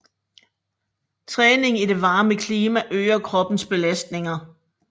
Træning i det varme klima øger kroppens belastning